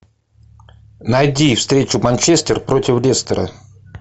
найди встречу манчестер против лестера